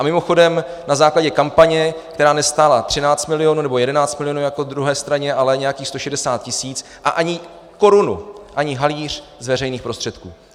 A mimochodem na základě kampaně, která nestála 13 milionů nebo 11 milionů jako druhé straně, ale nějakých 160 tisíc, a ani korunu, ani haléř z veřejných prostředků.